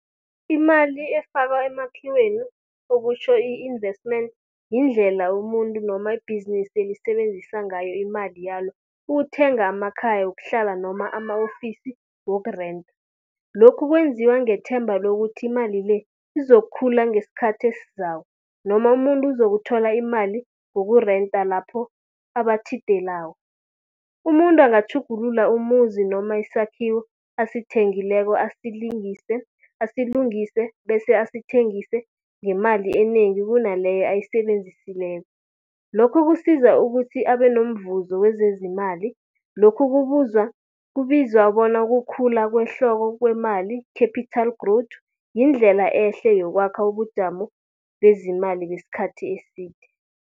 Imali efakwa emakhiweni okutjho i-investment, yindlela umuntu noma ibhizinisi elisebenzisa ngayo imali yalo ukuthenga amakhaya wokuhlala noma ama-ofisi wokurenta. Lokhu kwenziwa ngethemba lokuthi imali le, izokhula ngesikhathi esizako noma umuntu uzokuthola imali yokurenta lapho abatjhidelako. Umuntu angatjhugulula umuzi noma isakhiwo asithengileko asilungise bese asithengise ngemali enengi kunaleyo ayisebenzisileko. Lokho kusiza ukuthi abe nomvuzo wezezimali, lokhu kubizwa bona kukhula kwehloko kwemali, capital growth yindlela ehle yokwakha ubujamo bezimali besikhathi eside.